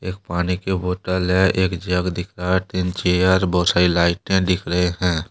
एक पानी की बोतल है एक जग दिख रहा है तीन चेयर बहुत सारी लाइटें दिख रही हैं।